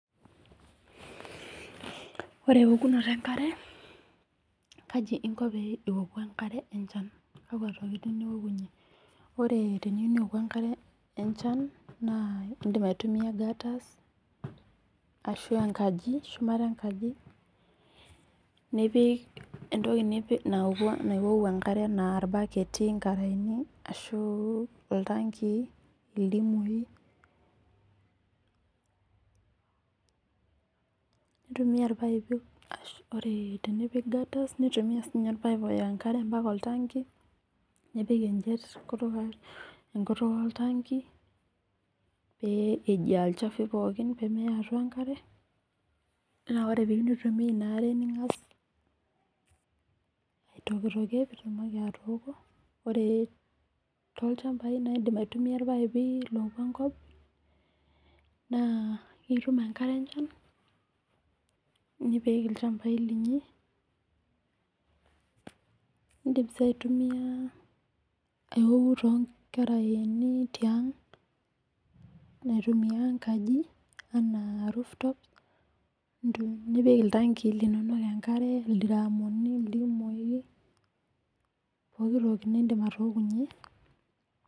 Ore eokunotk enkare kaji inko pee ioku enkare enchan. Kakua tokitin iwokunye. Ore teniyou niwoku enkare enchan naa idim aitumia gutters ashu enkaji shumata enkaji nipik entoki nauku enkare enaa irbaketi inkaraeni ashu iltanki ildimui. Nitumie irpapai ashu ore tenipik gutters nitumia orpaip siii ninye loya enkare ompaka oltanki nepik ejiet enkutuk oltanki pee ejii ol chafu pookin pemeya atua enkare. Naa oree pee in tumia ina are ning'as aitokitokie pii tumoki atoko. Naa ore too ilchambai naa idim ai tumia irpaipi lopuo enkop naa itum enkare enchan nipik ilchambai linyi nidim sii aitumia auku too nkaraeni tiang' naa atumia enkaji enaa rooftops nintoki nipiki iltanki linono enkare ildiramuni idimui pookin toki nidim atookunye.